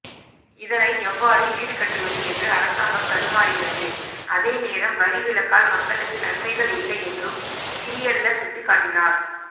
இதனை எவ்வாறு ஈடுகட்டுவது என்று அரசாங்கம் தடுமாறுகிறது அதேநேரம் வரி விலக்கால் மக்களுக்கு நன்மைகள் இல்லை என்றும் கிரியெல்ல சுட்டிக்காட்டினார்